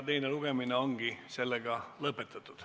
Teine lugemine ongi lõpetatud.